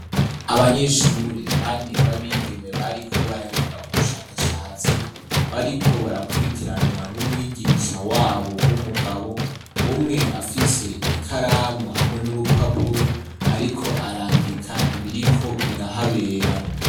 Abanyeshuri bane babigeme bariko baragira ubushakashatsi, bariko barakurikiranwa n'umwigisha wabo w'umugabo, umwe afise ikaramu hamwe n'urupapuro ariko arandika ibiriko birahabera.